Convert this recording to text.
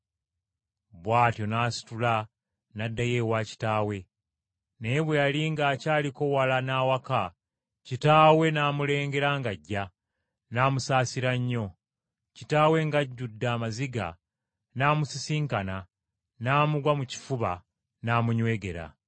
Bw’atyo n’asitula n’addayo ewa kitaawe. “Naye bwe yali ng’akyaliko wala n’awaka, kitaawe n’amulengera ng’ajja, n’amusaasira nnyo. Kitaawe ng’ajjudde amaziga n’amusisinkana, n’amugwa mu kifuba n’amunywegera.